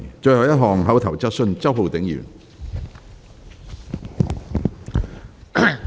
最後一項口頭質詢。